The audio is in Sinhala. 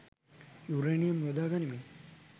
යුරේනියම් යොදා ගනිමින්